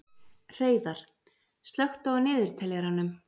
Hreiðar, slökktu á niðurteljaranum.